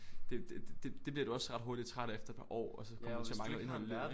Det det det bliver du også ret hurtigt træt af efter et par år og så kommer du til at mangle noget indhold i livet